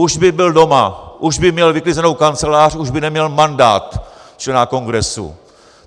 Už by byl doma, už by měl vyklizenou kancelář, už by neměl mandát člena Kongresu!